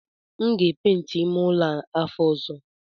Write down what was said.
M ga epenti ime ụlọ a afọ ọzọ